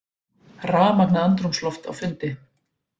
Rafmagnað andrúmsloft á fundi